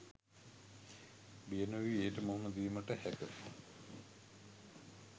බිය නොවී එයට මුහුණ දීමට හැක